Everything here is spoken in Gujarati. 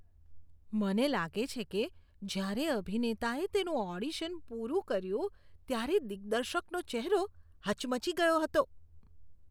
મને લાગે છે કે જ્યારે અભિનેતાએ તેનું ઓડિશન પૂરું કર્યું ત્યારે દિગ્દર્શકનો ચહેરો હચમચી ગયો હતો.